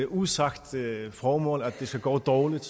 usagt formål at det skal gå dårligt